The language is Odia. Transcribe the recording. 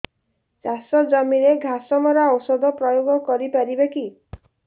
ଚାଷ ଜମିରେ ଘାସ ମରା ଔଷଧ ପ୍ରୟୋଗ କରି ପାରିବା କି